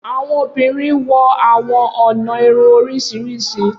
Awọn obinrin wọ awọn ọna irun oriṣiriṣi.